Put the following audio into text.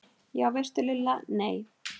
Já veistu Lulla, nei